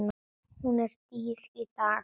Hún er dýr í dag.